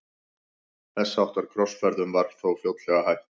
Þess háttar krossferðum var þó fljótlega hætt.